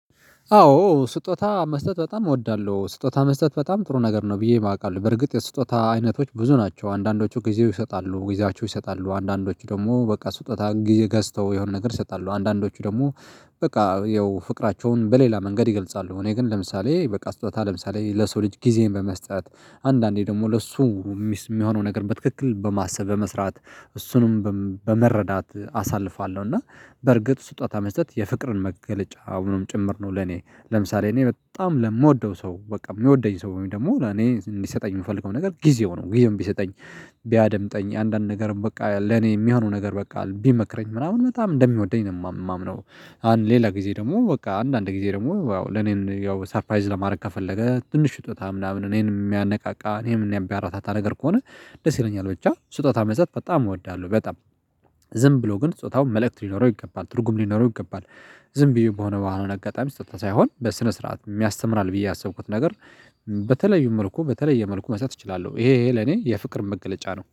አዎ ስጦታ መስጠት በጣም እወዳለሁ ስጦታ መስጠት በጣም ጥሩ ነገር ነው ብዬ የማውቃለሁ በርግጥ የስጦታ አይነቶች ብዙ ናቸው አንዳንዶቹ ጊዜው ይሰጣሉ ጊዜያቸው ይሰጣሉ አንዳንዶቹ ደግሞ በቃ ስጦታ ገዝተው የሆነ ነገር ይሰጣሉ አንዳንዶቹ ደግሞ በቃ ያው ፍቅራቸውን በሌላ መንገድ ይገልጻሉ። እኔ ግን ለምሳሌ በቃ ስጦታ ለምሳሌ ለሰው ልጅ ጊዜን በመስጠት አንዳንዴ ደግሞ ለሱ የሚሆነው ነገር በትክክል በማሰብ በመስራት እሱንም በመረዳት አሳልፋለሁ እና በርግጥ ስጦታ መስጠት የፍቅርን መገለጫ አሁንም ጭምር ነው። ለኔ ለምሳሌ እኔ በጣም ለምወደው ሰው በቃ የምወደኝ ሰው ወይም ደግሞ ለኔ እንዲሰጠኝ የምፈልገው ነገር ጊዜው ነው። ጊዜውን ቢሰጠኝ ቢያደምጠኝ አንዳንድ ነገርም በቃ ለኔ የሚሆነው ነገር በቃ ቢመክረኝ ምናምን በጣም እንደሚወደኝ ነው የማምነው። አንድ ሌላ ጊዜ ደግሞ በቃ አንዳንድ ጊዜ ደግሞ ያው ለኔን ያው ሰርፓይዝ ለማድረግ ከፈለገ ትንሽ ስጦታ ምናምን እኔንም የሚያነቃቃ እኔን ሚያበረታታ ነገር ከሆነ ደስ ይለኛል። ብቻ ስጦታ መስጠት በጣም እወዳለሁ። በጣም ዝም ብሎ ግን ጾታው መልእክት ሊኖረው ይገባል ትርጉም ሊኖረው ይገባል። ዝም ብዬ በሆነ በኋላ አጋጣሚ ስጦታ ሳይሆን በስነ ስርዓት ያስተምራል ብዬ ያሰብኩት ነገር። በተለይ መልኩ በተለየ መልኩ መስጠት እችላለሁ ይሄ ይሄ ለኔ የፍቅር መገለጫ ነው